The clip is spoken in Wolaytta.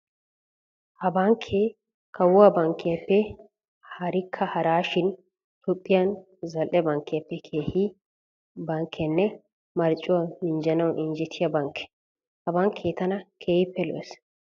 Ha bankkee kawuwa bankkiyappe harikka haraa shin Toophphiya zal"e bankkiyappe kehiya bankkenne marccuwa minjjanawu injjetiya bankke. Ha bankkee tana keehippe lo"ees.